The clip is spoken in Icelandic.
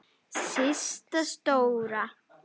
Systa stóra!